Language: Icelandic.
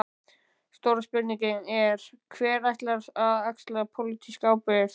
Stóra spurningin er: Hver ætlar að axla pólitíska ábyrgð?